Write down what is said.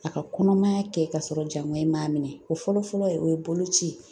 A ka kɔnɔmaya kɛ ka sɔrɔ jaŋɔɲi in m'a minɛ o fɔlɔ fɔlɔ ye o ye bolo ci ye